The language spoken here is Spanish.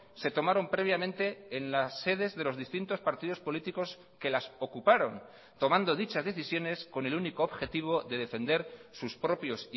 se tomaron previamente en las sedes de los distintos partidos políticos que las ocuparon tomando dichas decisiones con el único objetivo de defender sus propios